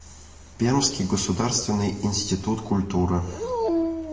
пермский государственный институт культуры